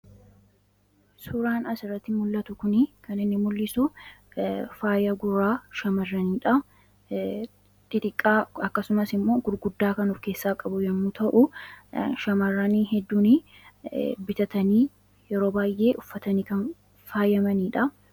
Suuraan asirratti mul'atu kunii kan inni mul'isu faaya gurraa shamarranii dhaa. Xixiqqaa akkasumas immoo gurguddaa kan of keessaa qabu yommuu ta'u, shamarran hedduun bitatanii yeroo baay'ee uffatanii kan faayamanii dhaa.